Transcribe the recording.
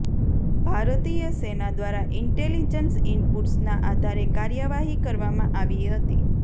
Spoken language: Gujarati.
ભારતીય સેના દ્વારા ઈન્ટેલિજન્સ ઈનપુટ્સના આધારે કાર્યવાહી કરવામાં આવી હતી